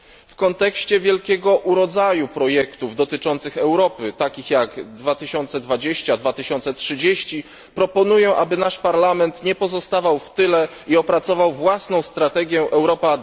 W kontekście wielkiego urodzaju projektów dotyczących Europy, takich jak 2020 czy 2030, proponuję, aby nasz Parlament nie pozostawał w tyle i opracował własną strategię Europa